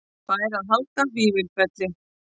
Fær að halda Vífilfelli